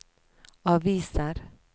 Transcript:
aviser